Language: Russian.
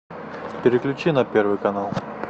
переключи на первый канал